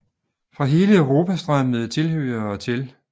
Fra hele Europa strømmede tilhørere til